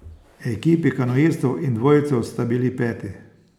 Ekipi kanuistov in dvojcev sta bili peti.